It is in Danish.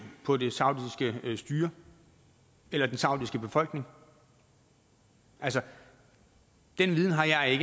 mod det saudiske styre eller den saudiske befolkning altså den viden har jeg